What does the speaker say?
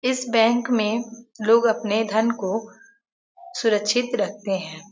इस बैंक में लोग अपने धन को सुरक्षित रखते हैं।